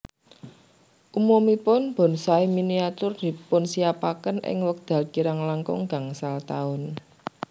Umumipun bonsai miniatur dipunsinyapaken ing wekdal kirang langkung gangsal taun